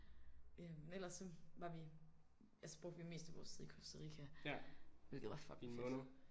Øh men ellers så var vi altså brugte vi mest af vores tid i Costa Rica hvilket var fucking fedt